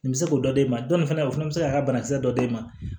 Nin bɛ se k'o dɔ d'e ma dɔ in fana o fana bɛ se k'a ka banakisɛ dɔ d'e ma